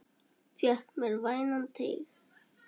Fékk mér vænan teyg.